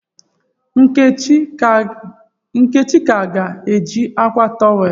Nkechi ka ga-eji akwa towel?